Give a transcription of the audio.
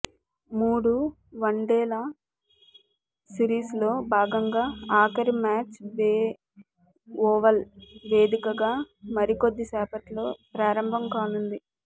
మూడు వన్డేల సిరీస్లో భాగంగా ఆఖరి మ్యాచ్ బే ఓవల్ వేదికగా మరికొద్దిసేపట్లో ప్రారంభం కానుంది